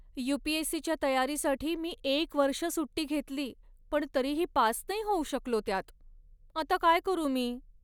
You. P. S. C. च्या तयारीसाठी मी एक वर्ष सुट्टी घेतली पण तरीही पास नाही होऊ शकलो त्यात. आता काय करू मी?